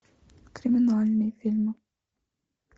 криминальные фильмы